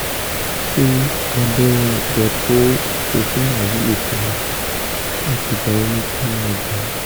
ṣé abẹ́rẹ́ depo-provera wúlò fún mi àti ìgbà wo ni kí n máa gbà á?